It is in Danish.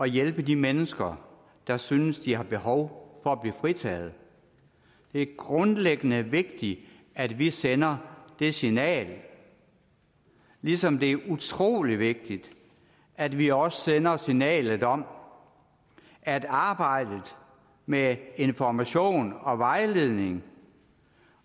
hjælpe de mennesker der synes at de har behov for at blive fritaget det er grundlæggende vigtigt at vi sender det signal ligesom det er utrolig vigtigt at vi også sender signalet om at arbejdet med information og vejledning